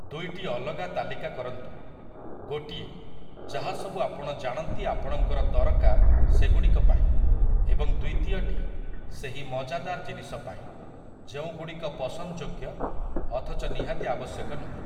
ଦୁଇଟି ଅଲଗା ତାଲିକା କରନ୍ତୁ । ଗୋଟିଏ, ଯାହାସବୁ ଆପଣ ଜାଣନ୍ତି ଆପଣଙ୍କର ଦରକାର ସେଗୁଡ଼ିକ ପାଇଁ ଏବଂ ଦ୍ୱିତୀୟଟି ସେହି ମଜାଦାର ଜିନିଷ ପାଇଁ ଯେଉଁଗୁଡ଼ିକ ପସନ୍ଦଯୋଗ୍ୟ ଅଥଚ ନିହାତି ଆବଶ୍ୟକ ନୁହେଁ ।